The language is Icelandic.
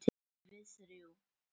Við þrjú.